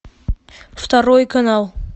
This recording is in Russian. второй канал